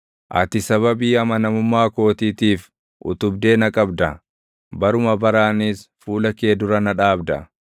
Ati sababii amanamummaa kootiitiif utubdee na qabda; baruma baraanis fuula kee dura na dhaabda.